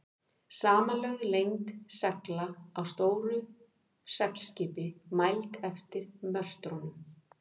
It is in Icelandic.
Samanlögð lengd segla á stóru seglskipi, mæld eftir möstrunum.